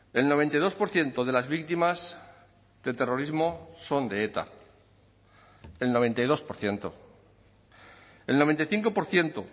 el noventa y dos por ciento de las víctimas del terrorismo son de eta el noventa y dos por ciento el noventa y cinco por ciento